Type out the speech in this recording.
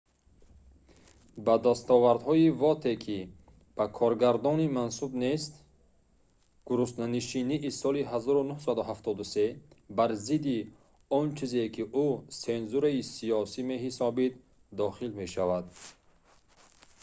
ба дастовардҳои воте ки ба коргардонӣ мансуб нест гуруснанишинии соли 1973 бар зидди он чизе ки ӯ сензураи сиёсӣ меҳисобид дохил мешавад